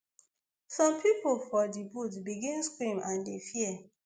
some pipo for di boat begin scream and dey fear